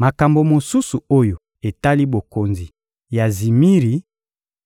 Makambo mosusu oyo etali bokonzi ya Zimiri